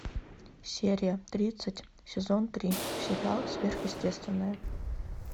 серия тридцать сезон три сериал сверхъестественное